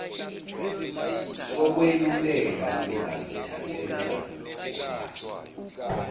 sokweluleka singazithathela ngokwaso